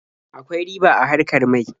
Akwai riba a harkar mai.